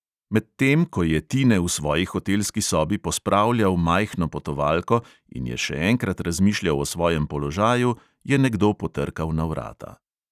Medtem ko je tine v svoji hotelski sobi pospravljal majhno potovalko in je še enkrat razmišljal o svojem položaju, je nekdo potrkal na vrata.